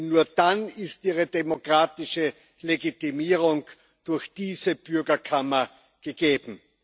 Denn nur dann ist ihre demokratische Legitimierung durch diese Bürgerkammer gegeben.